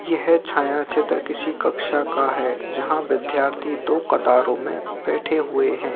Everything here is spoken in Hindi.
यह छाया चित्र किसी कक्षा का है जहां विद्यार्थी दो कतारों में बैठे हुए है।